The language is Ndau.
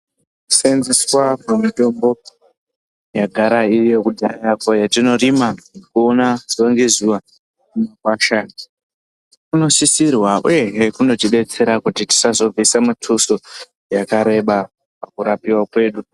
Kusenzeswa kwemitombo yagara iri yekudhaya yatinorima kuona zuwa ngezuwa mumagwasha unosisirwa uyehe kuzotidetsera kuti tisazobvisa mutuso wakareba pakurapiwa kwedu.